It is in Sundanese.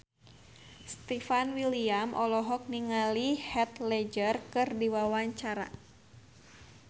Stefan William olohok ningali Heath Ledger keur diwawancara